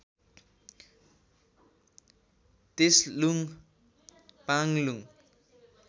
तेसलुङ पाङलुङ